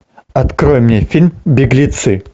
открой мне фильм беглецы